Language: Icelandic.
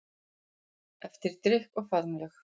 Eftir drykk og faðmlög.